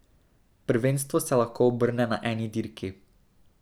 Prvenstvo se lahko obrne na eni dirki.